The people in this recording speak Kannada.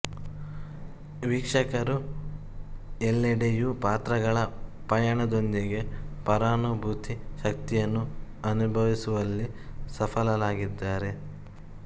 ವೀಕ್ಷಕರು ಎಲ್ಲೆಡೆಯು ಪಾತ್ರಗಳ ಪಯಣದೊಂದಿಗೆ ಪರಾನುಭೂತಿ ಶಕ್ತಿಯನ್ನು ಅನುಭವಿಸುವಲ್ಲಿ ಸಫಲರಾಗಿದ್ದಾರೆ